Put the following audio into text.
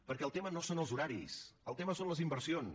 perquè el tema no són els horaris el tema són les inversions